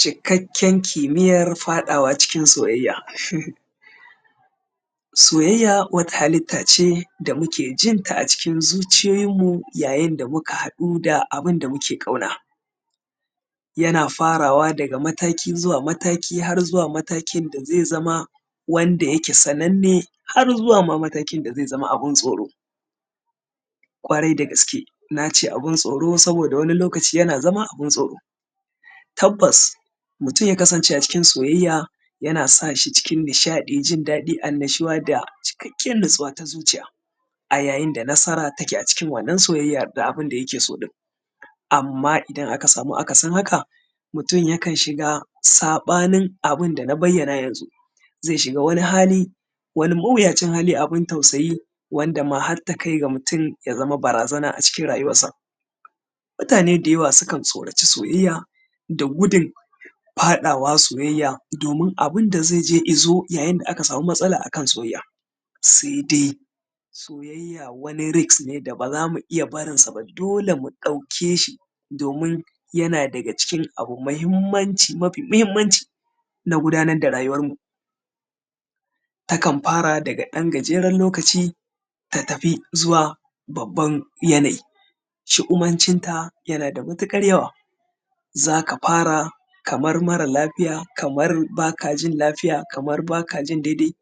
Cikakken kimiyyar faɗawa cikin soyayya uhmmm. Soyayya wata halitta ce da muke jin ta acikin zuciyoyinmu yayin da muka haɗu da abin da muke ƙauna. Yana farawa daga mataki zuwa mataki har zuwa matakin da zai zama wanda yake sananne har zuwa ma matakin da zai zama abin tsoro, ƙwarai da gaske, na ce abin tsoro saboda wani lokaci yana zama abin tsoro. Tabbas mutum ya kasance acikin soyayya yana sa shi cikin nishaɗi, jin daɗi, annushuwa da cikakken natsuwa ta zuciya, a yayin da nasara ta a cikin wannan soyayyan da abin da yake so ɗin. Amma idan aka samu akasin haka, mutum yakan shiga saɓanin abin da na bayyana yanzu, zai shiga wani hali, wani mawuyacin hali, abin tausayi wanda ma har takai ga mutum ya zama barazana acikin rayuwarsa. Mutane dayawa sukan tsoraci soyayya da gudun faɗawa soyayya domin abin da zai je izo idan aka samu matsala akan soyayya, sai dai, soyayya wani risk ne da ba za mu iya barin sa ba, dole mu ɗauke shi domin yana daga cikin abu mahimmanci mafi mahimmanci na gudanar da rayuwarmu. Takan fara daga ɗan gajeren lokaci ta tafi zuwa babban yanayi, shu’umancinta yana da matuƙar yawa, za ka fara kamar mara lafiya kamar baka jin lafiya, kamar ba ka jin dai-dai,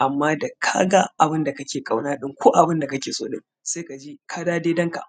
amma da ka ga abin da kake ƙauna ɗin ko abin da kake sɗin sai ka ji ka dawo daidan ka.